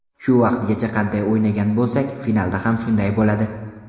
Shu vaqtgacha qanday o‘ynagan bo‘lsak, finalda ham shunday bo‘ladi.